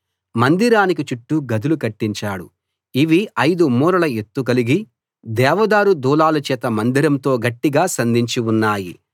మందిరానికి చుట్టూ గదులు కట్టించాడు ఇవి ఐదు మూరల ఎత్తు కలిగి దేవదారు దూలాల చేత మందిరంతో గట్టిగా సంధించి ఉన్నాయి